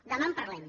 demà en parlem